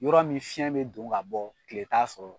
Yɔrɔ min fiɲɛ bɛ don ka bɔ tile t'a sɔrɔ